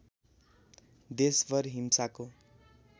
देशभर हिंसाको